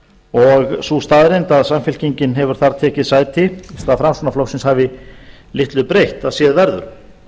og sú staðreynd að samfylkingin hefur þar tekið sæti framsóknarflokksins hafi litlu breytt að séð verður mig